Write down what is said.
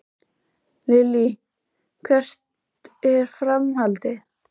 Lillý: Hvert er framhaldið?